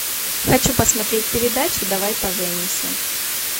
хочу посмотреть передачу давай поженимся